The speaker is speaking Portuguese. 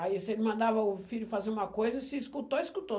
Aí se ele mandava o filho fazer uma coisa, se escutou, escutou.